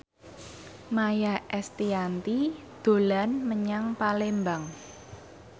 Maia Estianty dolan menyang Palembang